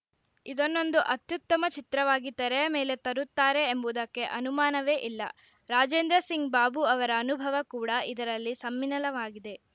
ಇದನ್ನೊಂದು ಅತ್ಯುತ್ತಮ ಚಿತ್ರವಾಗಿ ತೆರೆಯ ಮೇಲೆ ತರುತ್ತಾರೆ ಎಂಬುದಕ್ಕೆ ಅನುಮಾನವೇ ಇಲ್ಲ ರಾಜೇಂದ್ರ ಸಿಂಗ್‌ ಬಾಬು ಅವರ ಅನುಭವ ಕೂಡಾ ಇದರಲ್ಲಿ ಸಮ್ಮಿಲನವಾಗಿದೆ